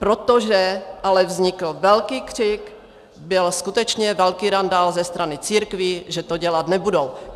Protože ale vznikl velký křik, byl skutečně velký randál ze strany církví, že to dělat nebudou.